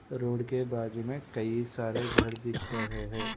Road के बाजू में कई सारे घर दिख रहे हैं।